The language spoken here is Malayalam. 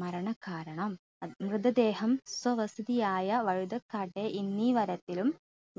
മരണകാരണം അ മൃതദേഹം സ്വവസതിയായ വഴുതക്കാട്ടെ ലും